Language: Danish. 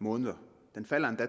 måneder den falder endda